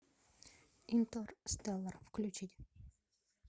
интерстеллар включить